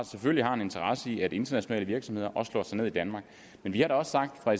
selvfølgelig har en interesse i at internationale virksomheder også slår sig ned i danmark men vi har da også sagt fra